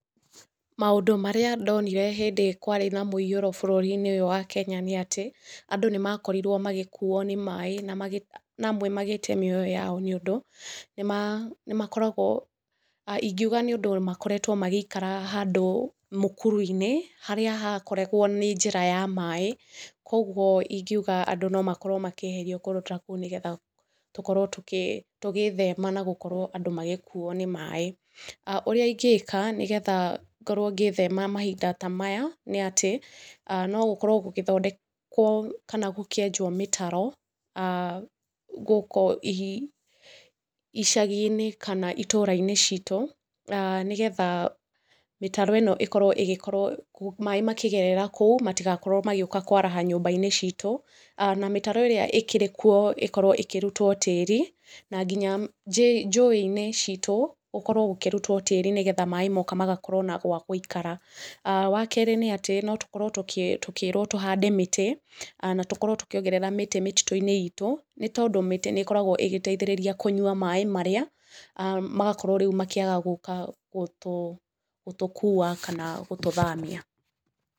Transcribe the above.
Maũndũ marĩa ndonire hĩndĩ kwarĩ na mũiyũro bũrũri-inĩ ũyũ wa Kenya nĩ atĩ, andũ nĩmakorirwo magĩkuo nĩ maaĩ na amwe magĩte mĩoyo yao nĩũndu nĩmakoragwo ingiuga nĩ ũndũ makoretwo magĩikara handũ mũkuru-inĩ harĩa hakoragwo nĩ njĩra ya maaĩ kwoguo ingiuga andũ no makorwo makĩeherio kũndũ ta kũu nĩgetha tũkorwo tugĩĩthema na gũkorwo andũ magĩkuo nĩ maaĩ. Ũrĩa ingĩĩka nĩgetha ngorwo ngĩĩthema mahinda ta maya nĩ atĩ no gũkorwo gũgĩthondekwo kana gũkĩenjwo mĩtaro gũkũ icagi-inĩ kana itũũra-inĩ citũ mĩtaro ĩno ĩkorwo ĩgĩkorwo maaĩ makĩgerera kũu matigakorwo magĩũka kwaraha nyũmba-inĩ citũ, na mĩtaro ĩrĩa ĩkĩrĩ kuo ĩkorwo ĩkĩrutwo tĩĩri na nginya njũĩ-inĩ citũ gũkorwo gũkĩrutwo tĩĩri nĩgetha maaĩ moka magakorwo na gwa gũikara. Wa keerĩ nĩ atĩ no tũkorwo tũkĩĩrwo tũhande mĩtĩ kana tũkorwo tũkĩongerera mĩtĩ mĩtitũ-inĩ itũ nĩ tondũ mĩtĩ nĩ ĩkoragwo ĩgĩteithĩrĩria kũnyua maaĩ marĩa magakorwo rĩu makĩaga gũũka gũtũkua kana gũtũthamia.